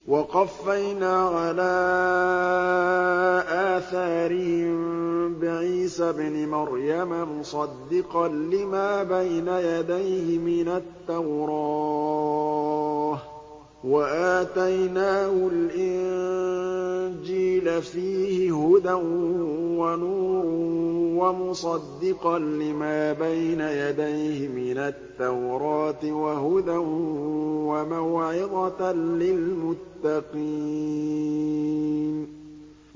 وَقَفَّيْنَا عَلَىٰ آثَارِهِم بِعِيسَى ابْنِ مَرْيَمَ مُصَدِّقًا لِّمَا بَيْنَ يَدَيْهِ مِنَ التَّوْرَاةِ ۖ وَآتَيْنَاهُ الْإِنجِيلَ فِيهِ هُدًى وَنُورٌ وَمُصَدِّقًا لِّمَا بَيْنَ يَدَيْهِ مِنَ التَّوْرَاةِ وَهُدًى وَمَوْعِظَةً لِّلْمُتَّقِينَ